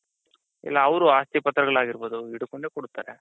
ಇಲ್ಲ ಅವ್ರು ಆಸ್ತಿ ಪತ್ರಗಳಾಗಿರ್ಬಹುದು ಹಿಡ್ಕೊಂಡೆ ಕೊಡ್ತಾರೆ.